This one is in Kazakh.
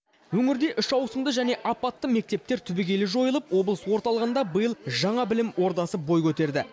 өңірде үш ауысымды және апатты мектептер түбегейлі жойылып облыс орталығында биыл жаңа білім ордасы бой көтерді